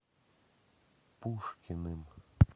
пушкиным